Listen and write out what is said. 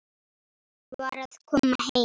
Var að koma heim.